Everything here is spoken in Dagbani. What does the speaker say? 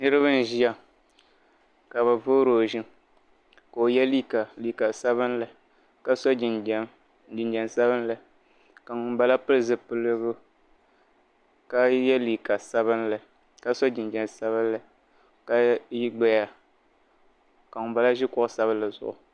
Niriba n ʒeya ka bɛ voori o ʒim ka o yɛ liiga liiga sabinli ka so jinjɛm jinjɛm sabinli ka ŋuni bala pili zipiligu ka yɛ liiga sabinli ka so jinjɛm sabinli ka gbaya ka ŋuni bala ʒe kuɣu sabinli zuɣu.